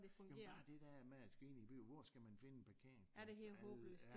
Jo men bare det der med at med at skulle ind i en by og hvor skal man finde en parkeringsplads